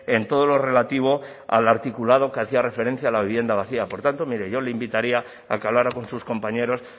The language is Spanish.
en todo lo relativo al articulado que hacía referencia a la vivienda vacía por tanto mire yo le invitaría a que hablara con sus compañeros